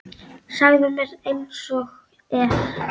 Segðu mér einsog er.